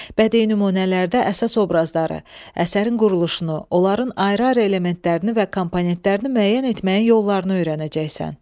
Bədii nümunələrdə əsas obrazları, əsərin quruluşunu, onların ayrı-ayrı elementlərini və komponentlərini müəyyən etməyin yollarını öyrənəcəksən.